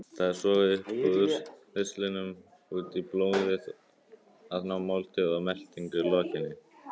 Það er sogað upp úr ristlinum út í blóðið að máltíð og meltingu lokinni.